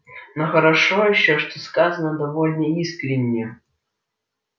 но хорошо ещё что сказано довольно искренне